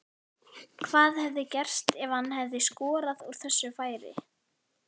Hvað hefði gerst ef hann hefði skorað úr þessu færi?